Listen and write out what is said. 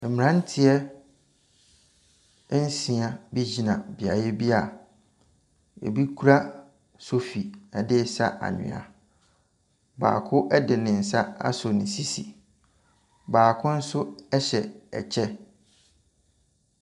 Mmaranteɛ nsia bi gyina beaeɛ bi a ebi kura sofi ɛderesa anhwea. Baako ɛde ne nsa asɔ ne sisi. Baako nso ɛhyɛ ɛkyɛ.